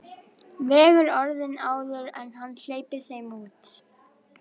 Vegur orðin áður en hann hleypir þeim út.